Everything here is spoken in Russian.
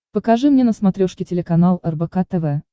покажи мне на смотрешке телеканал рбк тв